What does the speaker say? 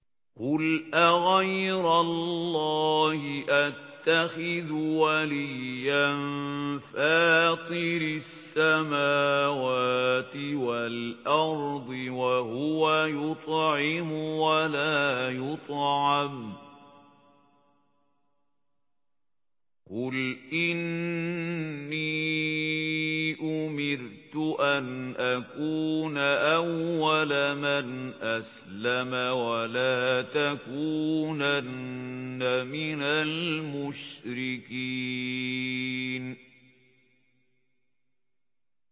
قُلْ أَغَيْرَ اللَّهِ أَتَّخِذُ وَلِيًّا فَاطِرِ السَّمَاوَاتِ وَالْأَرْضِ وَهُوَ يُطْعِمُ وَلَا يُطْعَمُ ۗ قُلْ إِنِّي أُمِرْتُ أَنْ أَكُونَ أَوَّلَ مَنْ أَسْلَمَ ۖ وَلَا تَكُونَنَّ مِنَ الْمُشْرِكِينَ